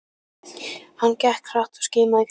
Hann gekk hratt og skimaði í kringum sig.